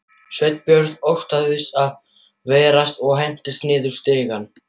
Sveinbjörn óttaðist það versta og hentist niður stigann.